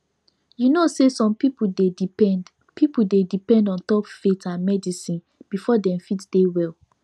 you know say some people dey depend people dey depend ontop faith and medicine before dem fit dey well